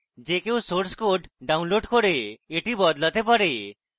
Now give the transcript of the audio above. যে code source code download করে এটি বদলাতে পারে